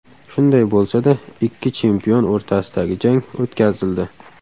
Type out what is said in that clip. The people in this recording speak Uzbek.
Shunday bo‘lsa-da, ikki chempion o‘rtasidagi jang o‘tkazildi.